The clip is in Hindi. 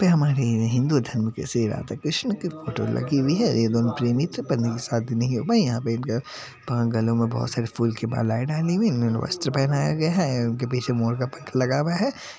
हम आ गए हैं हिन्दू धर्म की सेवा तो श्री कृष्णा की फोटो लगी हुई है एवं प्रेमीत्वा पायी यहा पे एक गलो में बहुत सारी फूल की मालाएं डाली हुई है इन्होंने वस्त्र पहनाया गया है उनके पीछे मोर का पंख लगा हुआ है।